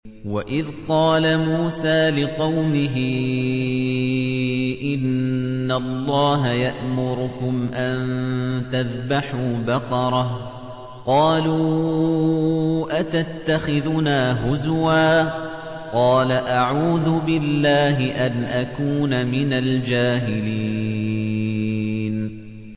وَإِذْ قَالَ مُوسَىٰ لِقَوْمِهِ إِنَّ اللَّهَ يَأْمُرُكُمْ أَن تَذْبَحُوا بَقَرَةً ۖ قَالُوا أَتَتَّخِذُنَا هُزُوًا ۖ قَالَ أَعُوذُ بِاللَّهِ أَنْ أَكُونَ مِنَ الْجَاهِلِينَ